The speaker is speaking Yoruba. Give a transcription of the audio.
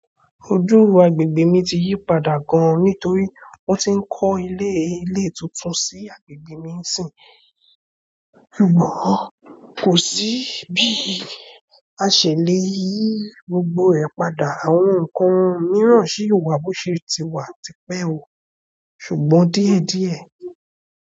Ojúùrọ̀ agbègbè mi ti yí padà gan nítorí wọ́n ti ń kọ́ ilé, ilé tuntun sí agbègbè mi sìn. Ṣùgbọ́n kò sí bí ìṣẹ̀lẹ̀ yìí gbogbo ẹ pàda, àwọn nǹkan mìíràn sì wà bó ṣe ti wà ti pẹ́ wọ̀, ṣùgbọ́n díẹ̀díẹ̀